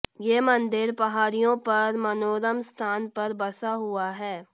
ये मंदिर पहाड़ियों पर मनोरम स्थान पर बसा हुआ है